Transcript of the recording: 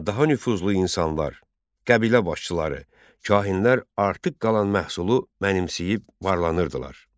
Daha nüfuzlu insanlar, qəbilə başçıları, kahinlər artıq qalan məhsulu mənimsəyib varlanırdılar.